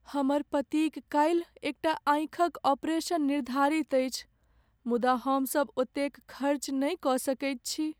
हमर पतिक काल्हि एकटा आँखिक ऑपरेशन निर्धारित अछि मुदा हमसभ ओतेक खर्च नहि कऽ सकैत छी।